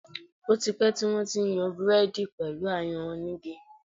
Ó ti pẹ́ tí wón ti ń yan Búrẹ́dì pẹ̀lú ayanran oní igi.